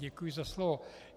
Děkuji za slovo.